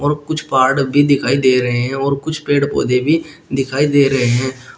कुछ पहाड़ भी दिखाई दे रहे हैं और कुछ पेड़ पौधे भी दिखाई दे रहे हैं।